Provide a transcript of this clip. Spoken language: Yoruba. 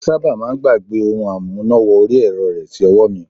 Ó sábà máà ń gbàgbẹ́ ohun amúná wọrí ẹ̀rọ rẹ̀ sí ọwọ́ mi.